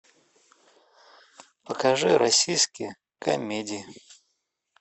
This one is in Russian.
покажи российские комедии